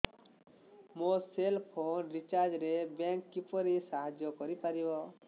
ମୋ cell phone recharge ରେ bank କିପରି ସାହାଯ୍ୟ କରିପାରିବ